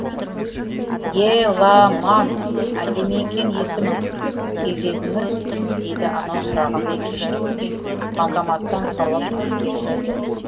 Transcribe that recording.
е ла маан әдемі екен есімің кезегіңіз дейді анау сұрағандай кешірім банкоматтан саулап теңге жөнелді